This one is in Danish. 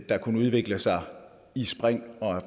der kunne udvikle sig i spring og